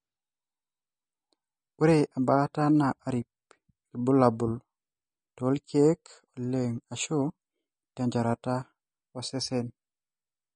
Ore embaata na arip ilbulabul, tolkeek oleng ashu tenchorata osesen,